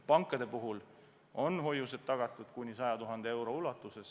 Pankade puhul on hoiused tagatud kuni 100 000 euro ulatuses.